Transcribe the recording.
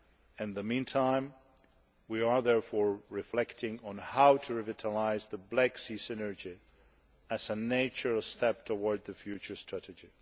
In the meantime, we are reflecting on how to revitalise the Black Sea Synergy as a natural step towards the future Strategy.